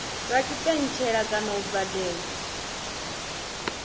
lwa tshipentshele kana u badela